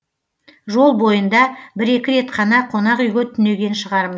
жол бойында бір екі рет қана қонақ үйге түнеген шығармыз